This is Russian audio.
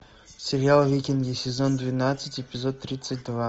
сериал викинги сезон двенадцать эпизод тридцать два